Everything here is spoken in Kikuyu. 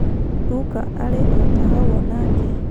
Ruka arĩ o-tahau o-nake.